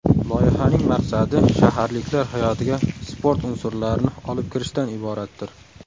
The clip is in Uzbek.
Loyihaning maqsadi shaharliklar hayotiga sport unsurlarini olib kirishdan iboratdir.